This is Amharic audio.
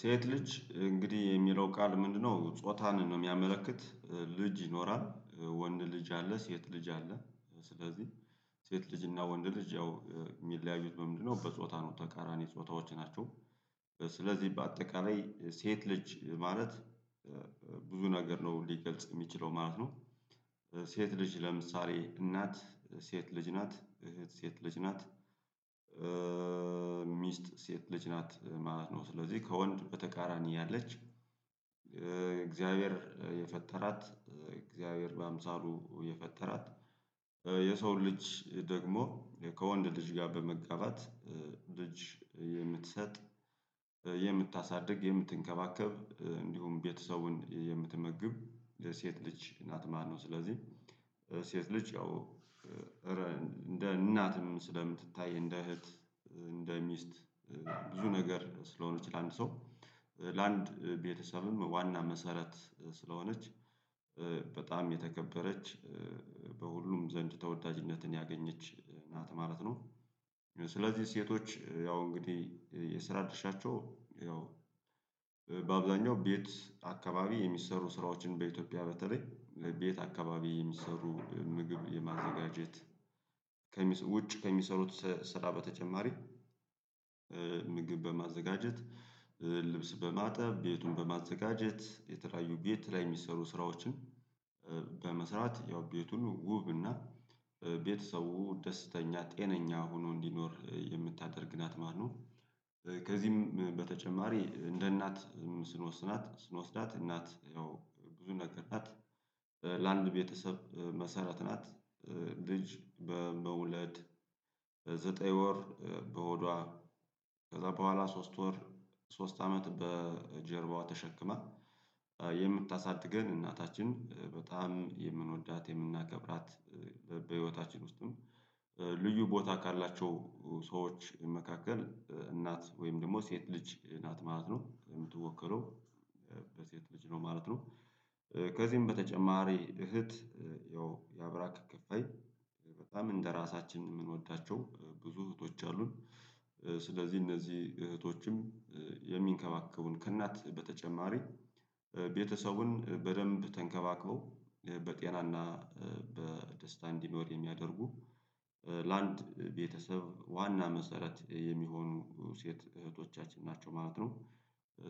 ሴት ልጅ እንግዲህ የሚለው ቃል ምንድነው? ጾታን ነው የሚያመለክት ልጅ ይኖራል ወንድ ልጅ አለ ሴት ልጅ አለች ስለዚህ ሴት ልጅ እና ወንድ ልጅ ያው የሚለያዩት በምንድነው በጾታ ነው ተቃራኒ ጾታዎች ናቸው። ስለዚህ በአጠቃላይ ሴት ልጅ ማለት ብዙ ነገር ነው ሊገልጽ የሚችለው ማለት ነው። ሴት ልጅ ለምሳሌ እናት ሴት ልጅ ናት እህት ሴት ልጅ ናት ሚስት ሴት ልጅ ናት ማለት ነው ስለዚህ ከወንድ በተቃራኒ ያለች። እግዚአብሔር የፈጠራት እግዚአብሔር በአምሳሉ የፈጠራት የሰው ልጅ ደግሞ ከወንድ ልጅ ጋር በመጋባት ልጅ የምትሰጥ የምታሳድግ የምትንከባከብ እንዲሁም ቤተሰቡን የምትመግብ ሴት ልጅ ናት ማለት ነው። ስለዚህ ሴት ልጅ ያው እንደ እናትም ስለምትታይ እንደ እህት እንደ ሚስት ብዙ ነገር ስለሆነች ለአንድ ሰው ለአንድ ቤተሰብም ዋና መሰረት ስለሆነች በጣም የተከበረች በሁሉም ዘንድ ተወዳጅነትን ያገኘች ናት ማለት ነው። ስለዚህ ሴቶች ያው እንግዲህ የስራ ድርሻቸው ያው በአብዛኛው ቤት አካባቢ የሚሰሩ ስራዎችን በኢትዮጵያ በተለይ ለቤት አካባቢ የሚሰሩ ምግብ የማዘጋጀት ውጭ ከሚሰሩት ስራ በተጨማሪ ምግብ በማዘጋጀት ልብስ በማጠብ ቤቱን በማዘጋጀት የተለያዩ ቤት ላይ የሚሰሩ ስራዎችን በመስራት ያው ቤቱን ውብ እና ቤተሰቡ ደስተኛ ጤነኛ ሆኖ እንዲኖር የምታደርግ ናት ማለት ነው። ከዚህም በተጨማሪ እንደ እናት ስንወስናት ስንወስዳት እናት ያው ብዙ ነገር ናት ለአንድ ቤተሰብ መሰረት ናት ልጅ በመውለድ በዘጠኝ ወር በሆዷ ከዛ በኋላ ሶስት ወር ሶስት አመት በጀርባዋ ተሸክማ የምታሳድገን እናታችን በጣም የምንወዳት የምናከብራት በህይወታችን ውስጥም ልዩ ቦታ ካላቸው መካከል እናት ወይም ደግሞ ሴት ልጅ ናት ማለት ነው የምትወከለው በሴት ልጅ ነው ማለት ነው። ከዚህም በተጨማሪ እህት ያው ያብራክ ክፋይ በጣም እንደራሳችን የምንወዳቸው ብዙ እህቶች አሉን ስለዚህ እነዚህ እህቶችም የሚንከባከቡን ከእናት በተጨማሪ ቤተሰቡን በደንብ ተንከባክበው በጤና እና በደስታ እንዲኖር የሚያደርጉ ለአንድ ቤተሰብ ዋና መሰረት የሚሆኑ ሴት እህቶቻችን ናቸው ማለት ነው።